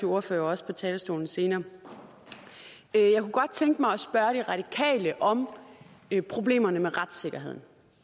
ordfører også på talerstolen senere jeg kunne godt tænke mig at spørge de radikale om problemerne med retssikkerheden